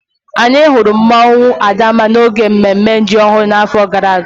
Anyị hụrụ mmụọnwu Adanma n'oge mmemme ji ọhụrụ n'afọ gara aga